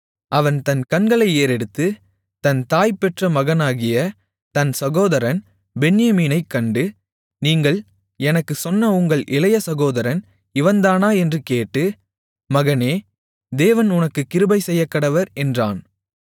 அவன் தன் கண்களை ஏறெடுத்து தன் தாய் பெற்ற மகனாகிய தன் சகோதரன் பென்யமீனைக் கண்டு நீங்கள் எனக்குச் சொன்ன உங்கள் இளைய சகோதரன் இவன்தானா என்று கேட்டு மகனே தேவன் உனக்குக் கிருபை செய்யக்கடவர் என்றான்